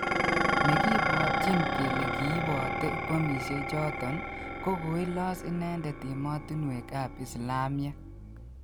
Negipotyin kele kiipote bomisiechoton ko koilos inendet emetinwek ap islamiek